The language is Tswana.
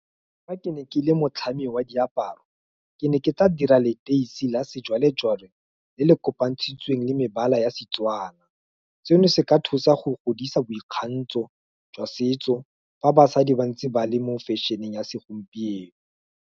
Fa ke ne ke le motlhami wa diaparo, ke ne ke tla dira leteisi la sejwalejwale le le kopa ntshitsweng le mebala ya Setswana. Seno se ka thusa go godisa boikgantsho jwa setso, fa basadi ba ntse ba le mo fashion-e ya segompieno.